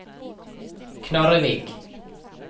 Knarrevik